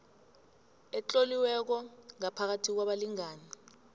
etloliweko phakathi kwabalingani